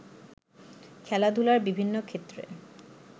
খেলাধুলার বিভিন্ন ক্ষেত্রে